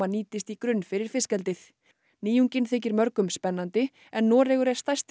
nýtist í grunn fyrir fiskeldið nýjungin þykir mörgum spennandi en Noregur er stærsti